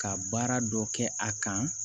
Ka baara dɔ kɛ a kan